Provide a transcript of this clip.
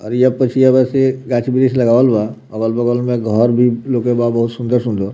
आरिया-पछिया बासे गाछ-बृक्ष लगावल बा अगल-बगल में घर भी लोके बा बहुत सुन्दर-सुन्दर।